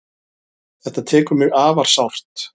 Þetta tekur mig afar sárt.